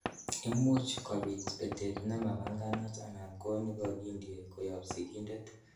Imuch kobit betet nemapanganat anan ko nekokindie koyob sigindet.